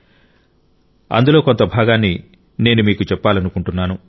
కానీ అందులో కొంత భాగాన్ని నేను మీకు చెప్పాలనుకుంటున్నాను